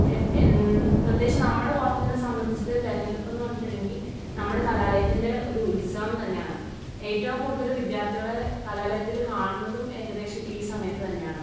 പ്രത്യേകിച്ച് നമ്മുടെ കോളേജിലെ സംബന്ധിച്ച് തിരഞ്ഞെടുപ്പ് എന്ന് പറഞ്ഞിട്ടുണ്ടെങ്കിൽ നമ്മുടെ കലാലയത്തിന്റെ ഒരു ഉത്സവം തന്നെയാണ്. ഏറ്റവും കൂടുതൽ വിദ്യാർത്ഥികളെ കലാലയത്തിൽ കാണുന്നതും ഏകദേശം ഈ സമയത്ത് തന്നെയാണ്.